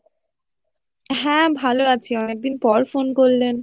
হ্যাঁ ভালো আছি অনেক দিন পর ফোন করলেন